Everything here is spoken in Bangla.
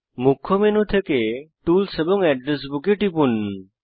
মুখ্য মেনু থেকে টুলস এবং অ্যাড্রেস বুক এ টিপুন